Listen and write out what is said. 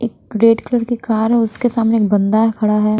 एक red colour की car है उसके सामने एक बंदा खड़ा है।